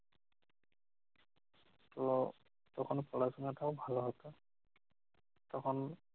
তো প্রথম পড়াশোনাটাও ভালো হতো তখন